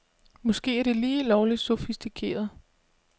Måske er det lige lovligt sofistikeret.